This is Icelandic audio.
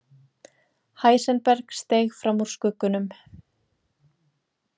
Heisenberg steig fram úr skuggunum.